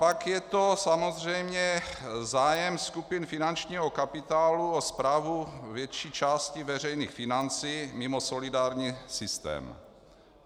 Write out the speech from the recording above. Pak je to samozřejmě zájem skupin finančního kapitálu o správu větší části veřejných financí mimo solidární systém.